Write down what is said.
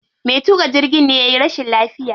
Me tuƙa jirgin ne yayi rashin lafiya.